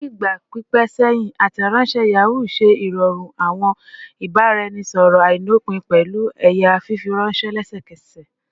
Ni igba pipẹ sẹhin, Ateronse Yahoo ṣe irọrun awọn ibaraẹnisọrọ ailopin pẹlu ẹya fifiranṣẹ lẹsẹkẹsẹ